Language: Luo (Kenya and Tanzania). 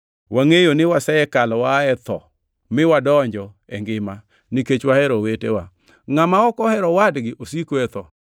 Wangʼeyo ni wasekalo waa e tho miwadonjo e ngima, nikech wahero owetewa. Ngʼama ok ohero owadgi osiko e tho.